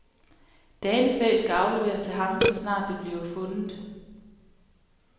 Danefæ skal afleveres til ham, så snart det bliver fundet.